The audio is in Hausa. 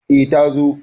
e ta zo